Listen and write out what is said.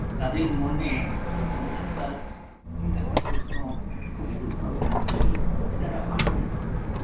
তাদের মনে আজকাল একটা প্রশ্ন খুব ঘুরপাক খাচ্ছে এটা একটা আশঙ্কা